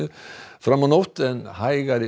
fram á nótt en hægari